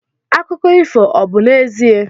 Akụkọ ifo obu 'ezie?